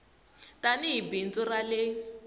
tani hi bindzu ra le